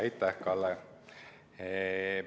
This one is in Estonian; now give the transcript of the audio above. Aitäh, Kalle!